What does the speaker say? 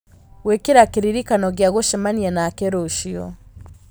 gwĩkĩra kĩririkano gĩa gũcemania nake rũciũ